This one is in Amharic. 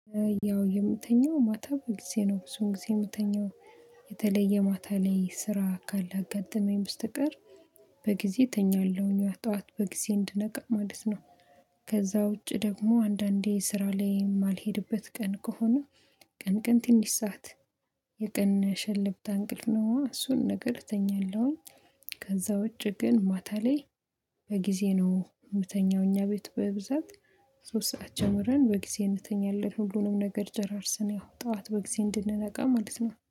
ያው የምተኛው ማታ በጊዜ ነው ብዙውን ጊዜ የምተኛው የተለየ ማታ ላይ ስራ ካለ አጋጥመኝ በስተቀር በጊዜ እተኛለሁኝ ጠዋት በጊዜ እንድነቃ ማለት ነው። ከዛ ውጪ ደግሞ አንዳንዴ ስራ ላይ የማልሄድበት ቀን ከሆነ ቀን ቀን ትንሽ ሰዓት የቀን ሸልብታ እንቅልፍ ነው እሱን ነገር እተኛለሁኝ። ከዛ ውጪ ግን ማታ ላይ በጊዜ ነው የምተኛው እኛ ቤት በብዛት ሶስት ሰዓት ጀምረን በጊዜ እንተኛለን ሁሉንም ነገር ጨራርሰን ያው ጠዋት በጊዜ እንድንነቃ ማለት ነው